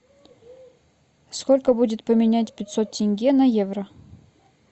сколько будет поменять пятьсот тенге на евро